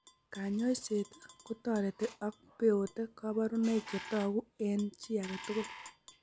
Kanyoiset ko toreti ako beote kabarunoik che toku eng' chi age tugul.